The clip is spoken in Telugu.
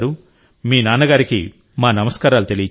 మీ నాన్నకి మా నమస్కారాలు తెలియజేయండి